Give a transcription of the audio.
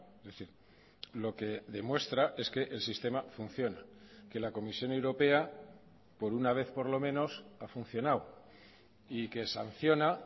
es decir lo que demuestra es que el sistema funciona que la comisión europea por una vez por lo menos ha funcionado y que sanciona